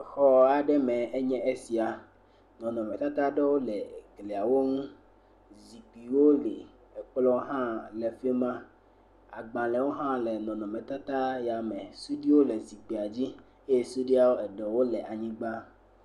Xɔ aɖe me enye esia. Nɔnɔmetata aɖewo le gliawo ŋu. Zikpuiwo li, kplɔ̃ hã le afi ma, agbalẽwo hã le nɔnɔmetata ya me. Suɖuiwo le zikpuia dzi eye suɖui ɖewo le anyigba.